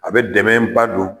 A bɛ dɛmɛ ba don